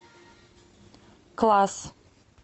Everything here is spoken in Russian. класс